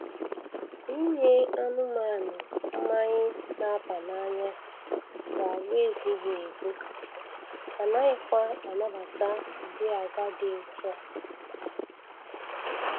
Inye anụmanụ mmanyị na-aba n'anya bụ agwa ezighị ezi, anaghịkwa anabata ụdị agwa dị otu a